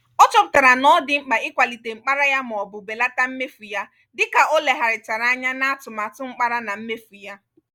ọ chọpụtara na ọ dị mkpa ịkwalite mkpara ya maọbụ belata mmefu ya dika o lebagharichara anya n'atụmatụ mkpara na mmefu ya.